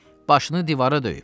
Başını divara döyüb.